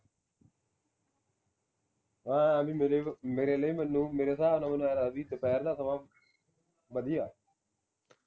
ਐ ਬਈ ਮੇਰੇ ਮੇਰੇ ਲਈ ਮੈਨੂੰ ਮੇਰੇ ਹਿਸਾਬ ਨਾਲ ਮੈਨੂੰ ਆਂਏ ਲਗਦਾ ਹੈ ਬਈ ਦੁਪਹਿਰ ਦਾ ਸਮਾਂ ਵਧੀਆ